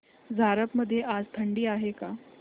झारप मध्ये आज थंडी आहे का